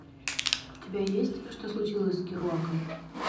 у тебя есть что случилось с керуаком